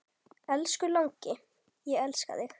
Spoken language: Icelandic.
Elsku langi, ég elska þig.